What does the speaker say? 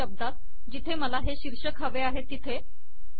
एकाच शब्दात जिथे मला हे शीर्षक हवे आहे तिथे